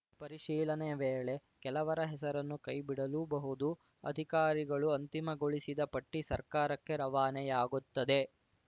ಪರಿಶೀಲನೆ ವೇಳೆ ಕೆಲವರ ಹೆಸರನ್ನು ಕೈ ಬಿಡಲೂಬಹುದು ಅಧಿಕಾರಿಗಳು ಅಂತಿಮಗೊಳಿಸಿದ ಪಟ್ಟಿಸರ್ಕಾರಕ್ಕೆ ರವಾನೆಯಾಗುತ್ತದೆ